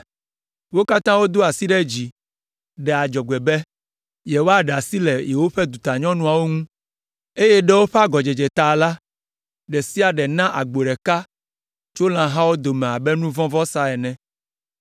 Wo katã wodo asi ɖe dzi, ɖe adzɔgbe be, yewoaɖe asi le yewoƒe dutanyɔnuawo ŋu, eye ɖe woƒe agɔdzedze la ta la, ɖe sia ɖe na agbo ɖeka tso lãhawo dome abe nu vɔ̃ vɔsa ene.